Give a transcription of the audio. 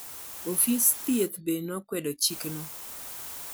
ofis thieth bende nokwedo chikno.